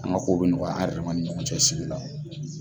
An ka ko bɛ nɔgɔya an yɛrɛ dama ni ɲɔgɔn cɛ sigi la.